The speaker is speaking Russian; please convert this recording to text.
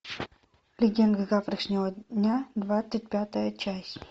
легенды завтрашнего дня двадцать пятая часть